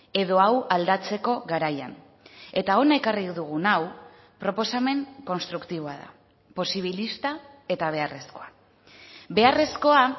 edo hau aldatzeko garaian eta hona ekarri dugun hau proposamen konstruktiboa da posibilista eta beharrezkoa beharrezkoa